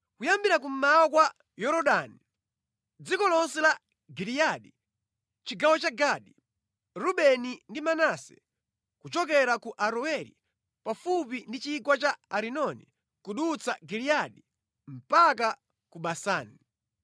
kuyambira kummawa kwa Yorodani, dziko lonse la Giliyadi (chigawo cha Gadi, Rubeni ndi Manase), kuchokera ku Aroeri pafupi ndi chigwa cha Arinoni kudutsa Giliyadi mpaka ku Basani.